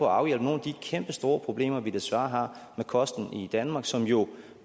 afhjælpe nogle af de kæmpestore problemer som vi desværre har med kosten i danmark og som jo